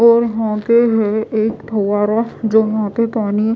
और होते हैं एक फंवारा जो वहां पे पानी--